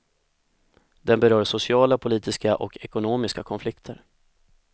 Den berör sociala, politiska och ekonomiska konflikter.